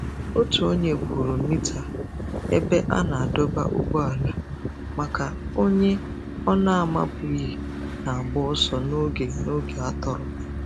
Otu onye kwụrụ mita ebe a na-adọba ụgbọala maka onye ọ na-amabughị na-agba ọsọ n'oge n'oge atọrọ.